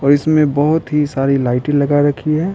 और इसमें बहुत ही सारी लाइट लगा रखी है।